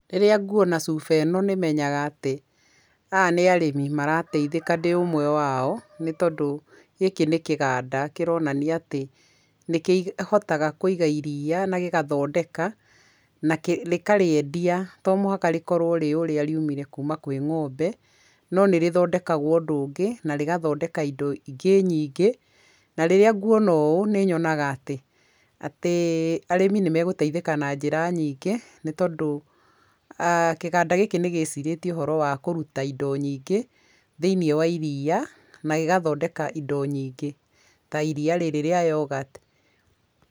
Rĩrĩa nguona cuba ĩno nĩ menyaga atĩ aya nĩ arĩmi marateithĩka ndĩ ũmwe wao, nĩ tondũ gĩkĩ nĩ kĩganda kĩronania atĩ, nĩ kĩhotaga kũiga iria, na gĩgathondeka na rĩkarĩendia to mũhaka rĩkorwo rĩ ũrĩa riumire kuma kwĩ ng'ombe, no nĩrĩthondekagwo ũndũ ũngĩ, na rĩgathondeka indo ingĩ nyingi, na rĩrĩa nguona ũũ nĩnyonaga atĩ arĩmi nĩ magũteithĩka na njĩra nyingĩ ,nĩ tondũ kĩganda gĩkĩ nĩgĩciirĩtie ũhoro wa kũrũta indo nyingĩ thĩi-ini wa iria na gĩgathondeka indo nyingĩ ta iria rĩrĩ rĩa yoghurt.